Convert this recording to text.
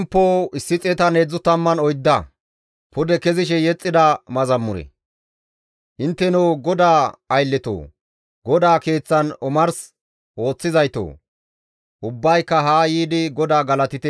Intteno GODAA aylletoo! GODAA Keeththan omars ooththizaytoo! ubbayka haa yiidi GODAA galatite.